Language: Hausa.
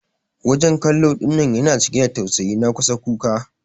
wajen kallo dinnan yana cike da tausayi na kusan kuka.